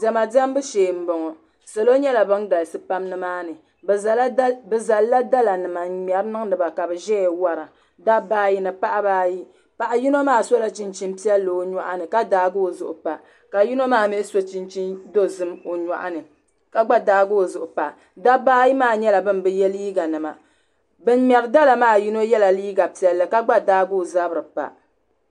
diɛma diɛmbu shee n bɔŋɔ salo nyɛla bin galisi pam nimaani bi zalila dala nima n ŋmɛri niŋdiba ka bi ʒɛya wora dabba ayi ni paɣaba ayi paɣa yino maa sola chinchin piɛlli o nyoɣani ka daagi o zuɣu pa ka yino maa mii so chhinchin dozim o nyoɣani ka gba daagi o zuɣu pa dabba ayi maa nyɛla bin bi yɛ liiga nima bin ŋmɛri dala maa yino yɛla liiga piɛlli ka gba daagi o zabiri pa